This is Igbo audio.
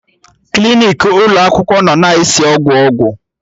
Klinik ụlọ akwụkwọ nọ na-esi ọgwụ ọgwụ